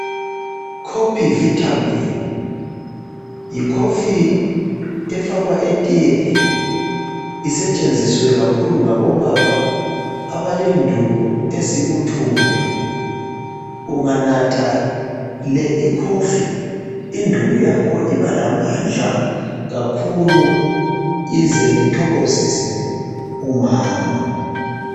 Kopivitamin yikhofi efakwa etiyeni isetshenziswe kakhulu ngabobaba abalenduku ezibuthundu unganatha le ikhofi induku yakho iba lamandla kakhulu ize ithokozise umama.